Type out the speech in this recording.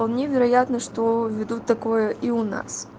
вполне вероятно что введут такое и у нас